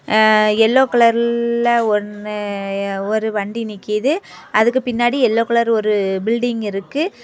அ yellow கலர்ல் ல்ல ஒன்னு எ ஒரு வண்டி நிக்கிது அதுக்கு பின்னாடி எல்லோ கலர் ஒரு பில்டிங் இருக்கு.